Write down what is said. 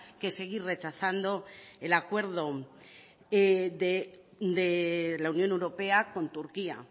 que seguir rechazando el acuerdo de la unión europea con turquía